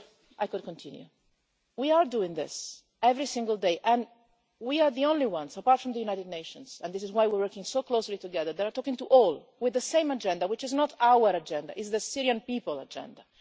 I could continue. We are doing this every single day and we are the only ones, apart from the United Nations and this is why we are working so closely together who are talking to everyone with the same agenda, which is not our agenda. It is the Syrian's people agenda.